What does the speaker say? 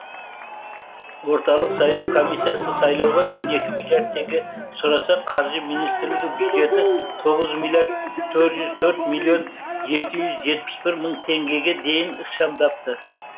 орталық сайлау комиссиясы сайлауға он екі миллиард теңге сұраса қаржы министрлігі бюджетті тоғыз миллиард төрт жүз төрт миллион жеті жүз жетпі бір мың теңгеге дейін ықшамдапты